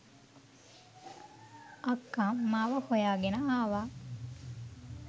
"අක්ක" මාව හොයාගෙන ආව.